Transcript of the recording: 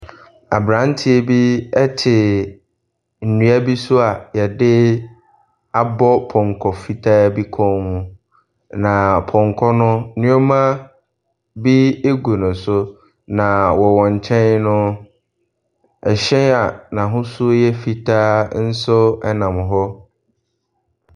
Abranteɛ bi ɛte nnua bi so a yɛde abɔ pɔnkɔ fitaa bi kɔn ho. Na pɔnkɔ no nnuama bi egu no so. Na wɔn kyɛn no ɛhyɛn a n'ahosuo yɛ fitaa ɛnam hɔ.